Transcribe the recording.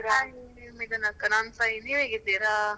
Hi ಇದ್ದೆನೆ ಅಕ್ಕ ನಾನ್ ನೀವ್ ಹೇಗಿದ್ದೀರಾ?